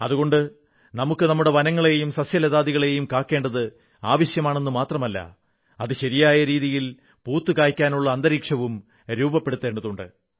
അതുകൊണ്ട് നമുക്ക് നമ്മുടെ വനങ്ങളെയും സസ്യലതാദികളെയും കാക്കേണ്ടത് ആവശ്യമാണെു മാത്രമല്ല അത് ശരിയായ രീതിയിൽ പൂത്തുകായ്ക്കാനുള്ള അന്തരീക്ഷവും രൂപപ്പെടുത്തേണ്ടതുണ്ട്